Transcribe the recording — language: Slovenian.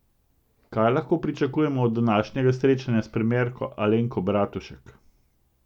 Kaj lahko pričakujemo od današnjega srečanja s premierko Alenko Bratušek?